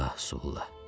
Ah, Sulla!